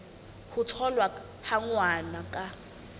ho tholwa ha ngwana ka